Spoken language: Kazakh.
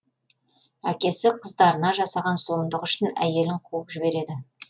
әкесі қыздарына жасаған зұлымдығы үшін әйелін қуып жібереді